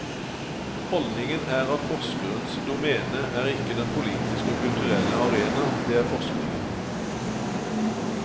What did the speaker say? Holdningen er at forskerens doméne er ikke den politiske og kulturelle arena, det er forskningen.